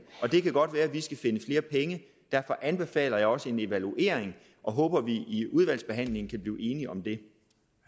og det kan godt være at vi skal finde flere penge derfor anbefaler jeg også en evaluering og håber at vi i udvalgsbehandlingen kan blive enige om det